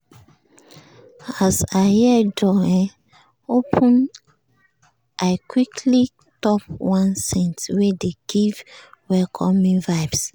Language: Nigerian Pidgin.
as i hear door um open i quickly top one scent wey dey give welcoming vibes.